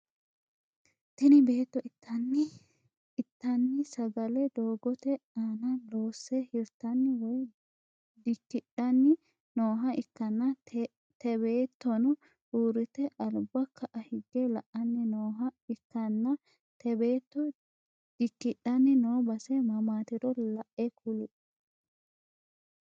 Tini beettono inttanni sagale doogote aana loosse hirttani woyi dikkidhianni nooha ikkanna te beettono uurite albba ka'a higge la'anni noha ikkanna te beetto dikkidhanni noo base mamaatiro la'e kuli?